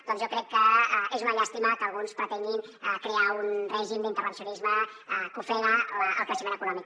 doncs jo crec que és una llàstima que alguns pretenguin crear un règim d’intervencionisme que ofega el creixement econòmic